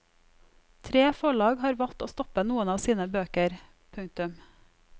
Tre forlag har valgt å stoppe noen av sine bøker. punktum